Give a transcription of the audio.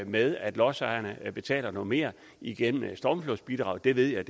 med at lodsejerne betaler noget mere igennem stormflodsbidraget det ved jeg